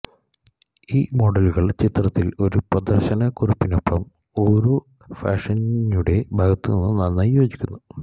ഈ മോഡലുകൾ ചിത്രത്തിൽ ഒരു സ്പർശന കുറിപ്പിനൊപ്പം ഓരോ ഫാഷിസ്റ്റിയുടെ ഭാഗത്തുനിന്നും നന്നായി യോജിക്കുന്നു